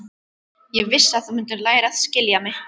Ég vissi að þú mundir læra að skilja mig.